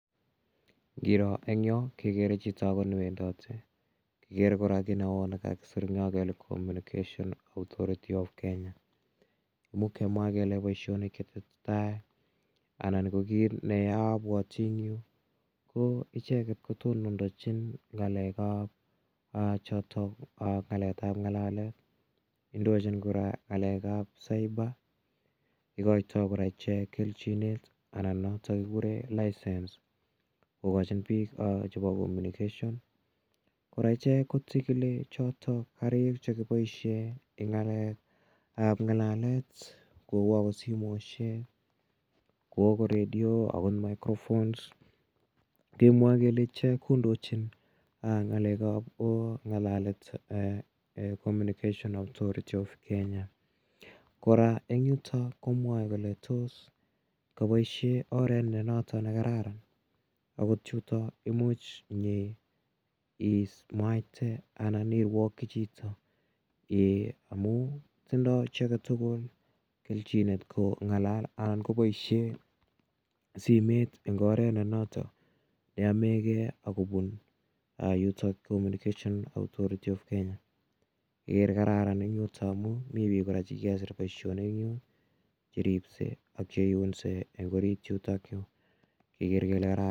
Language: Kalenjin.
Iroo en Yoo kekere chito ne wendote kikere kora ki neoo nekakosir kele communication authority of Kenya imuch kemwa kele kinetesetai anan kineabuoti en yu ko icheket kotonondachin ng'alekab choton kayaaptaetab ng'alalet en kora ng'alekab cyber ikoito kora kelchinoek kouu license kokachin bik chebo communication araa ichek kotinye choto karik chebo ng'alalet kou akot simoisiek, kou okot radio, kou akot microphone kemuaa kele ichek kondochin ko ng'alalet eh communication authority of Kenya kora en yuton komwae kole tos kaboisie aret nenoto nekararan okot chuton imuch imwaite anan iruaki chito amuun tindoo icheket tugul kechinet kong'alal anan koboisei simeet en oret nenoto yaemego kobun communication authority of Kenya kararan amuun me chi nekikesir boisioni cherise ak cheiunse en orityutok yu. Kerer kele kararan